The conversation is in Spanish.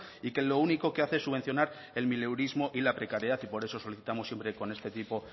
y que lo único que hace es subvencionar el mileurismo y la precariedad y por eso solicitamos siempre con este tipo